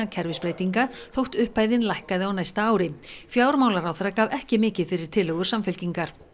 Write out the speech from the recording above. kerfisbreytinga þótt upphæðin lækkaði á næsta ári fjármálaráðherra gaf ekki mikið fyrir tillögur Samfylkingar